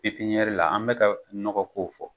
Pipiniyɛri la an bɛ ka nɔgɔ ko fɔ